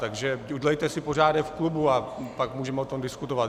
Takže udělejte si pořádek v klubu, a pak můžeme o tom diskutovat.